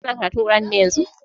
Kana karatun kur'ani ne yanzun?